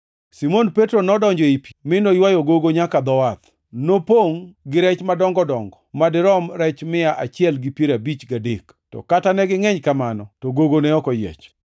Simon Petro nodonjo ei pi, mi noywayo gogo nyaka dho wath. Nopongʼ gi rech madongo dongo ma dirom rech mia achiel gi piero abich gadek, to kata negingʼeny kamano, to gogo ne ok oyiech.